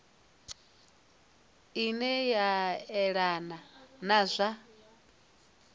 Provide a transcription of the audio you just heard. ine a yelana na zwa